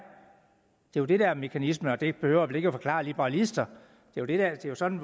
jo det der er mekanismen og det behøver jeg vel ikke forklare liberalister det er jo sådan